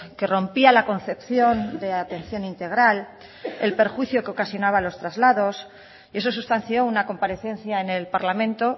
que rompía la concepción de atención integral el perjuicio que ocasionaba a los traslados y eso sustanció una comparecencia en el parlamento